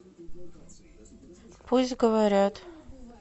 пусть говорят